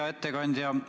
Hea ettekandja!